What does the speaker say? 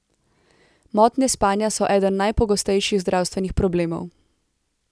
Motnje spanja so eden najpogostejših zdravstvenih problemov.